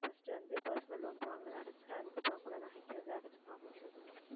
first வந்து personal loan வாங்குனதை அடைச்சிட்டு அதுக்கப்புறம் கூட நகைக்கு வந்து அடைச்சுக்கலாம் கொஞ்சம் கொஞ்சமா